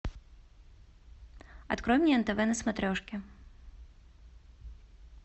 открой мне нтв на смотрешке